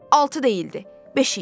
Altı deyildi, beş idi.